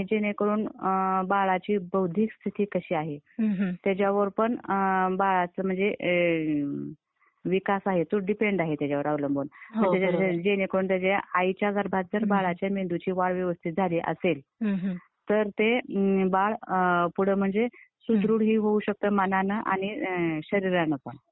आणि जेणेकरून बाळाची बौद्धिक स्थिती कशी आहे, त्याच्यावर पण बाळाचं म्हणजे विकास आहे, तो डीपेंड आहे, त्याच्यावर अवलंबून. जेणेकरून त्याच्या आईच्या गर्भात तर बाळाच्या मेंदूची वाढ व्यवस्थित झाली असेल , तर ते बाळ पुढे म्हणजे सुदृढ ही होऊ शकत मनांन आणि शरीरान पण